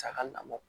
Saga namɔ